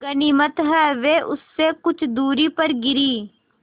गनीमत है वे उससे कुछ दूरी पर गिरीं